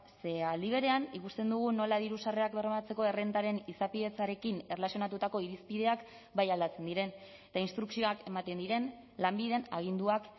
ze aldi berean ikusten dugun nola diru sarrerak bermatzeko errentaren izapidetzarekin erlazionatutako irizpideak bai aldatzen diren eta instrukzioak ematen diren lanbiden aginduak